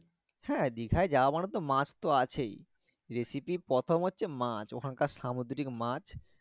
হ্যাঁ দীঘা যাওয়া মানে তো মাছ তো আছেই recipe র প্রথম হচ্ছে মাছ ওখানকার সামুদ্রিক মাছ